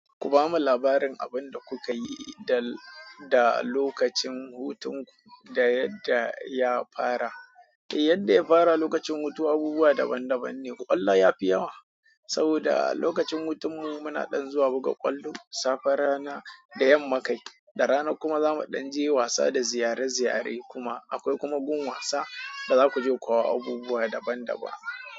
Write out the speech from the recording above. Ku bamu labarin abin da kuka yi da, da lokacin hutun ku da yadda ya fara. Eh yadda ya fara lokacin hutu abubuwa daban daban ne. Kwallo ya fi yawa saboda lokacin hutun mu muna ɗan zuwa buga kwallo, safe rana da yamma kai, da rana kuma za mu ɗan je wasa da ziyare- ziyare kuma akwai kuma gun wasa da za ku je, kuwa abubuwa daban daban.